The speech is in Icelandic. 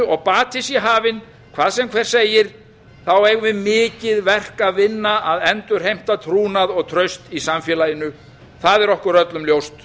og bati sé hafinn hvað sem hver segir eigum við mikið verk að vinna að endurheimta trúnað og traust í samfélaginu það er okkur öllum ljóst